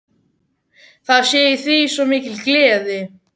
Það sé í því svo mikil gleði.